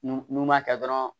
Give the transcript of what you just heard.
N'u n'u m'a kɛ dɔrɔn